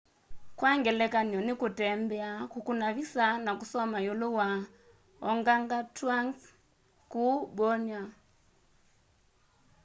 kwa ngelekany'o nĩ kũtembea kũkũna visa na kũsoma iulu wa organgatũangs kũu borneo